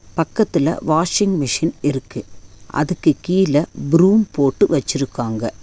பக்கத்துல washing machine இருக்கு அதுக்கு கீழ ப்ரூம் போட்டு வச்சுருக்காங்க.